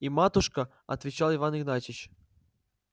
и матушка отвечал иван игнатьич